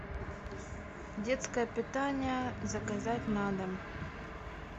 детское питание заказать на дом